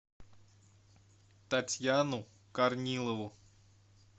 татьяну корнилову